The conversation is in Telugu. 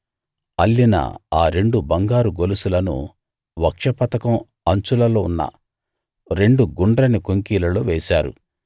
అల్లిన ఆ రెండు బంగారు గొలుసులను వక్షపతకం అంచులలో ఉన్న రెండు గుండ్రని కొంకీలలో వేశారు